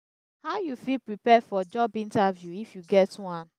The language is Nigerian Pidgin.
how you fit prepare for job interview if you get one?